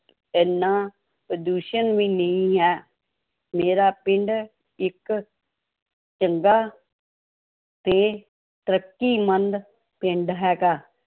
ਇੰਨਾ ਪ੍ਰਦੂਸ਼ਣ ਵੀ ਨਹੀਂ ਹੈ, ਮੇਰਾ ਪਿੰਡ ਇੱਕ ਚੰਗਾ ਤੇ ਤਰੱਕੀਮੰਦ ਪਿੰਡ ਹੈਗਾ।